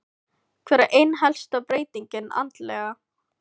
Hver er ein helsta breytingin andlega?